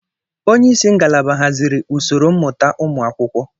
Onye isi ngalaba haziri usoro mmụta ụmụ akwụkwọ.